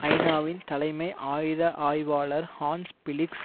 ஐநாவின் தலைமை ஆயுத ஆய்வாளர் ஹான்ஸ் பிளிக்ஸ்